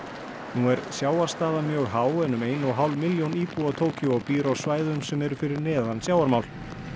nú er sjávarstaða mjög há en um ein og hálf milljóna íbúa Tókýó býr á svæðum sem eru fyrir neðan sjávarmál